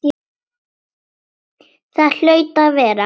Það hlaut að vera.